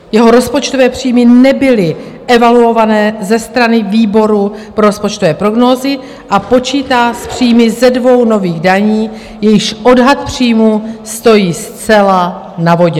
Jeho rozpočtové příjmy nebyly evaluované ze strany výboru pro rozpočtové prognózy a počítá s příjmy ze dvou nových daní, jejichž odhad příjmu stojí zcela na vodě.